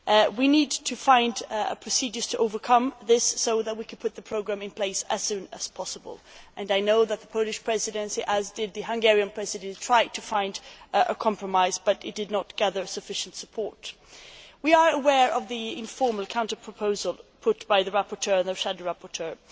We need to find procedures to overcome this so that we can put the programme in place as soon as possible. I know that the Polish Presidency, like the Hungarian Presidency, tried to find a compromise, but it did not gather sufficient support. We are aware of the informal counter proposal put by the rapporteur and the shadow rapporteurs.